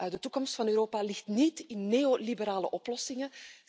De toekomst van Europa ligt niet in neoliberale oplossingen.